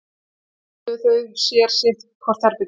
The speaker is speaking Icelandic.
Þar pöntuðu þau sér sitt hvort herbergið